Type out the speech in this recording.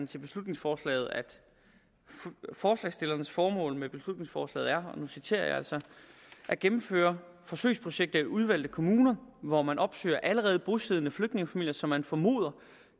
til beslutningsforslaget at forslagsstillernes formål med beslutningsforslaget er at gennemføre forsøgsprojekter i udvalgte kommuner hvor man opsøger allerede bosiddende flygtningefamilier som man formoder